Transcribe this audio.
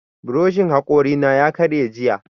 Buroshin haƙori na ya karye jiya